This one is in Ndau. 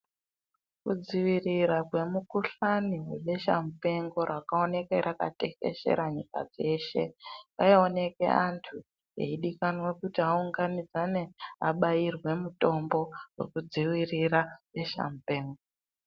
Ku dzivirira kwe mukuhlani we besha mupengo raka oneke raka teshera nyika dzeshe rai oneke antu eyi dikanwa kuti aunganidzane abairwe mutombo weku dzivirira beshe mupengo.